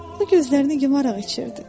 O gözlərini yumaraq içirdi.